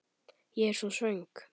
Ég er svo svöng.